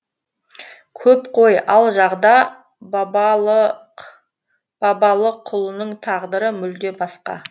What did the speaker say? көп қой ал жағда бабалықұлының тағдыры мүлде басқа